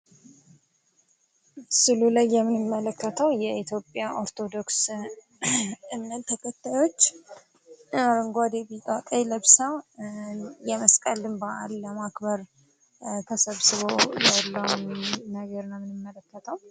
ስእሉ ላይ የምንመለከተው የኢትዮጵያ ኦርቶዶክስ እምነት ተከታዮች አረጓዴ ቢጫ ቀይ ለብሰው የመስቀልን በአል ለማክበር ተሰብስበው ያለውን ነገር ነው የምንመለከተው።